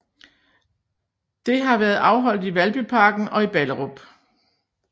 Det har været afholdt i Valbyparken og i Ballerup